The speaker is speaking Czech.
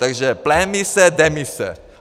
Takže pleinmise, demise.